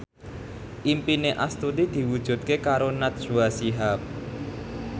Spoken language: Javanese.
impine Astuti diwujudke karo Najwa Shihab